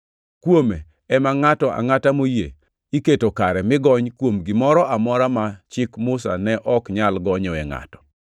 Kuome ema ngʼato angʼata moyie iketo kare mi gony kuom gimoro amora ma Chik Musa ne ok nyal gonyoe ngʼato.